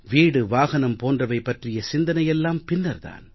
வீடு வாகனம் போன்றவை பற்றிய சிந்தனை எல்லாம் பின்னர் தான்